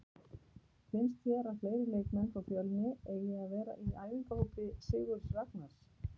Finnst þér að fleiri leikmenn frá Fjölni eigi að vera í æfingahópi Sigurðs Ragnars?